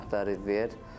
Bura sənədləri ver.